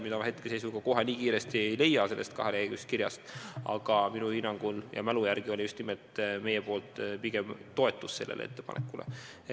Ma kohe ei leia seda nii kiiresti sellest kaheleheküljelisest kirjast üles, aga minu mälu järgi me pigem toetasime seda ettepanekut.